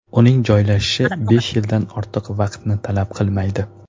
Uning joylashishi besh yildan ortiq vaqtni talab qilmaydi.